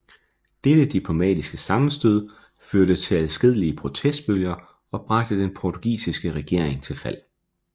Dette diplomatiske sammenstød førte til adskillige protestbølger og bragte den portugisiske regering til fald